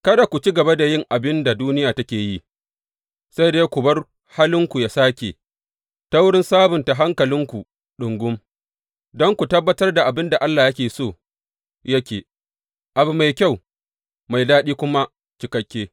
Kada ku ci gaba da yin abin da duniya take yi, sai dai ku bar halinku ya sāke, ta wurin sabunta hankalinku ɗungum, don ku tabbatar da abin da Allah yake so yake, abu mai kyau, mai daɗi da kuma cikakke.